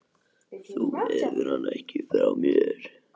Þú hefur hann ekki frá mér.